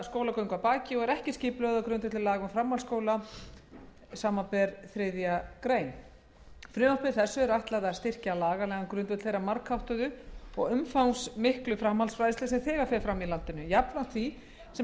skólagöngu að baki og ekki er skipulögð á grundvelli laga um framhaldsskóla og háskóla frumvarpi þessu er ætlað að styrkja lagalegan grundvöll þeirrar margháttuðu og umfangsmiklu framhaldsfræðslu sem þegar fer fram í landinu jafnframt því sem